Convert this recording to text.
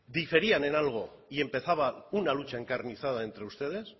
diferían en algo y empezaba una lucha encarnizada entre ustedes